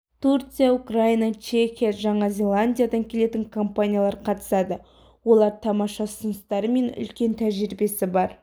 турция украина чехия жаңа зеландиядан келетін компаниялар қатысады олар тамаша ұсыныстары мен үлкен тәжірибесі бар